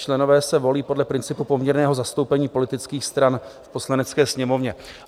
Členové se volí podle principu poměrného zastoupení politických stran v Poslanecké sněmovně.